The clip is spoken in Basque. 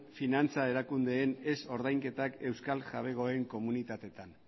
finantza erakundeen ez ordainketak euskal jabegoen komunitateetan